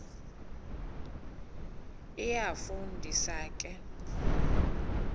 iyafu ndisa ke